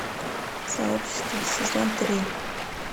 сообщество сезон три